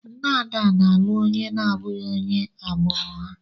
Nne Ada na-alụ onye na-abụghị onye agbụrụ ha.